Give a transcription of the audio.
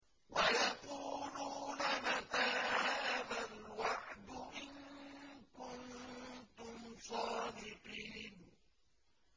وَيَقُولُونَ مَتَىٰ هَٰذَا الْوَعْدُ إِن كُنتُمْ صَادِقِينَ